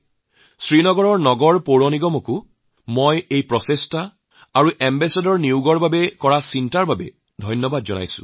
স্বচ্ছতাৰ প্ৰতি তেওঁৰ দৃষ্টিভংগী আৰু ব্ৰেণ্ড এম্বেছাডৰ নিৰ্বাচনত তেওঁলোকে লোৱা পদক্ষেপৰ বাবে শ্ৰীনগৰ পৌৰ নিগমক মই ধন্যবাদ জনাইছোঁ